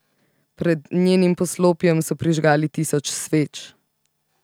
Pred njenim poslopjem so prižgali tisoč sveč.